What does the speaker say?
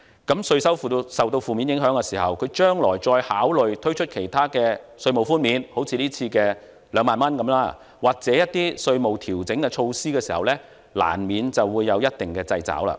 當稅收受到負面影響時，它將來再考慮推出其他稅務寬免，好像今次的2萬元或一些稅務調整措施時，難免有一定的掣肘。